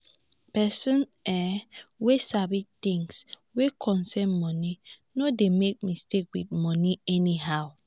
pesin um wey sabi tins wey concern moni no dey make mistake with moni anyhow.